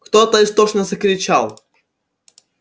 кто-то истошно закричал